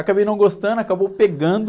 Acabei não gostando, acabou pegando...